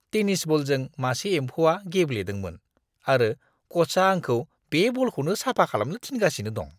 Tennis बलजों मासे एम्फौआ गेब्लेदोंमोन आरो क'चआ आंखौ बे बलखौनो साफा खालामनो थिनगासिनो दं।